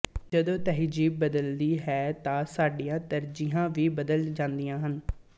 ਜਦੋਂ ਤਹਿਜੀਬ ਬਦਲਦੀ ਹੈ ਤਾਂ ਸਾਡੀਆਂ ਤਰਜੀਹਾਂ ਵੀ ਬਦਲ ਜਾਂਦੀਆਂ ਹਨ